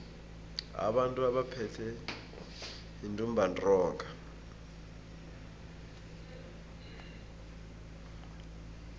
abantu abaphethwe yintumbantonga